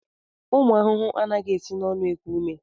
Ụmụ ahụhụ anataghị esi n'ọnụ eku ume.